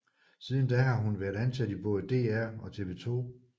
Siden da har hun været ansat i både DR og TV 2